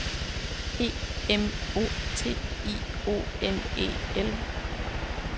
E M O T I O N E L